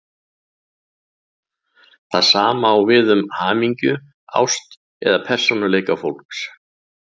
Það sama á við um hamingju, ást eða persónuleika fólks.